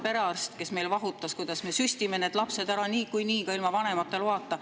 Või siis staarperearst, kes meil vahutas, kuidas me süstime lapsed ära niikuinii, ka ilma vanemate loata.